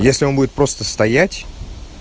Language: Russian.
если он будет просто стоять